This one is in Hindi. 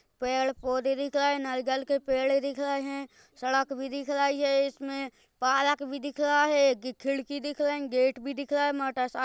पेड़ पौधे दिखेए नयीगल के पेड़ दिख रहे है सड़क भी दिख रही है इसमे पारक भी दिख रहा है एक खिड़की दिख रही गेट भी दिख रहा है मोटा सा --